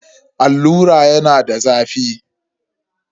Allura yana da zafi.